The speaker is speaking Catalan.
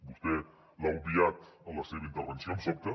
vostè l’ha obviat en la seva intervenció em sobta